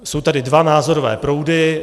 Jsou tady dva názorové proudy.